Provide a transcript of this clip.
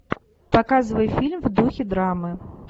показывай фильм в духе драмы